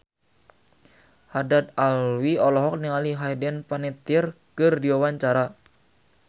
Haddad Alwi olohok ningali Hayden Panettiere keur diwawancara